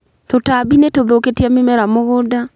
Tũtambi nĩ tuthũkĩtie mĩmera mũgũnda.